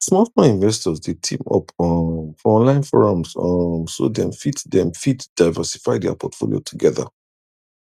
smallsmall investors dey team up um for online forums um so dem fit dem fit diversify their portfolio together